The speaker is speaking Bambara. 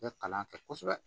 I bɛ kalan kɛ kosɛbɛ